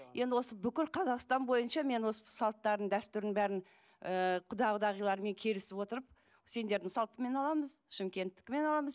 енді осы бүкіл қазақстан бойынша мен осы салттардың дәстүрдің бәрін ы құда құдағилармен келісіп отырып сендердің салтыңмен аламыз шымкенттікімен аламыз